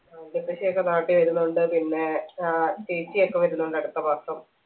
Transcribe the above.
ആ വല്യപ്പച്ചിയൊക്കെ നാട്ടി വരുന്നുണ്ട് പിന്നെ ഏർ ചേച്ചിയൊക്കെ വരുന്നുണ്ട് അടുത്ത മാസം